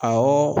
Awɔ